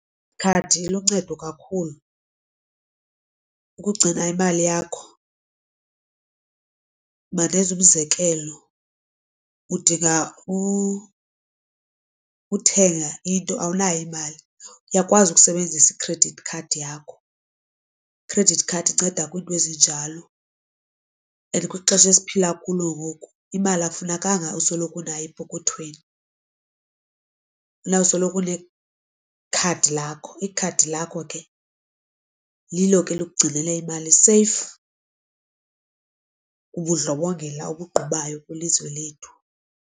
Ikhadi liluncedo kakhulu ukugcina imali yakho, mandenze umzekelo udinga ukuthenga into awunayo imali uyakwazi ukusebenzisa i-credit card yakho. I-credit card inceda kwiinto ezinjalo and kwixesha esiphila kulo ngoku imali akufunekanga usoloko unayo epokothweni. Funa usoloko unekhadi lakho ikhadi lakho ke lilo ke elikugcinela imali seyifu kubundlobongela obugqubayo kwilizwe lethu.